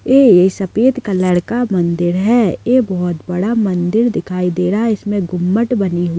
ए सफेद कलर का मन्दिर है ए बहोत बड़ा मन्दिर दिखाई दे रहा है इसमे गुम्मट बनी हुई।